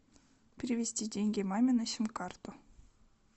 перевести деньги маме на сим карту